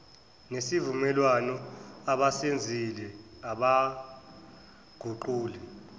nesivumelwano abasenzile abaguquli